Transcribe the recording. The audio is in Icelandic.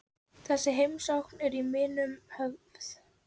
Þessi heimsókn er í minnum höfð.